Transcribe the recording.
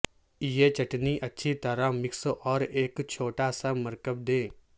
یہ چٹنی اچھی طرح مکس اور ایک چھوٹا سا مرکب دے